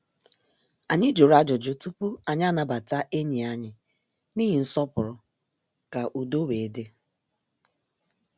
Anyị jụrụ ajụjụ tupu anyị anabata enyi anyị n' ihi nsọpụrụ ka udo wee dị.